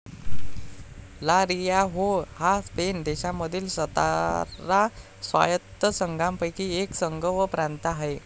ला Rioja हा Spain देशांमधील सतरा स्वायत्त संघांपैकी एक संघ व प्रांत आहे